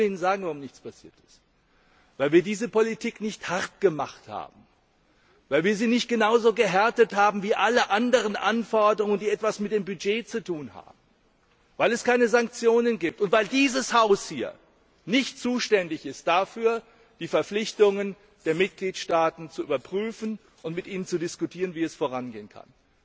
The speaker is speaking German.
Ich will Ihnen sagen, warum nichts passiert ist Weil wir diese Politik nicht hart gemacht haben, weil wir sie nicht genau so gehärtet haben wie alle anderen Anforderungen, die etwas mit dem Budget zu tun haben, weil es keine Sanktionen gibt, und weil dieses Haus hier nicht zuständig ist dafür, die Verpflichtungen der Mitgliedstaaten zu überprüfen und mit Ihnen zu diskutieren, wie es vorangehen kann.